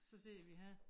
Så sidder vi her